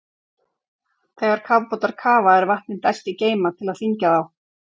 Þegar kafbátar kafa er vatni dælt í geyma til að þyngja þá.